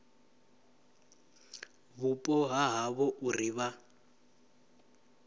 vhupo ha havho uri vha